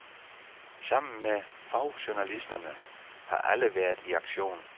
Sammen med fagjournalisterne har alle været i aktion.